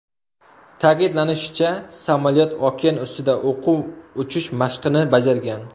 Ta’kidlanishicha, samolyot okean ustida o‘quv uchish mashqini bajargan.